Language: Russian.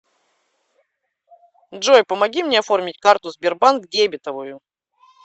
джой помоги мне оформить карту сбербанк дебетовую